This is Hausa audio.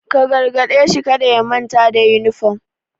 Ka gargade shi kada ya manta da yunifom!